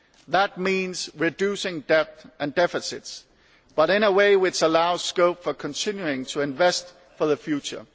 That means reducing debt and deficits, but in a way which allows scope for continuing to invest for the future.